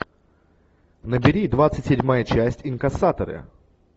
набери двадцать седьмая часть инкассаторы